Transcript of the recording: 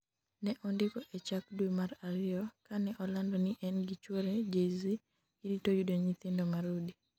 ne ondiko e chak dwe mar ariyo, kane olando ni en gi chuore Jay Z girito yudo nyithindo marude